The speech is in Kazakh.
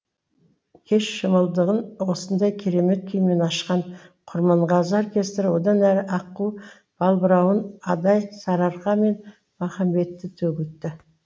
кеш шымылдығын осындай керемет күймен ашқан құрманғазы оркестрі одан әрі аққу балбырауын адай сарыарқа мен махамбетті төгілтті